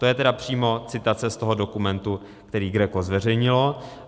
- To je tedy přímo citace z toho dokumentu, který GRECO zveřejnilo.